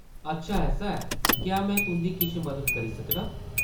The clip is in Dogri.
अच्छा ऐसा ऐ। क्या में तुंʼदी किश मदद करी सकनां ?